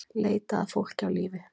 Leita að fólki á lífi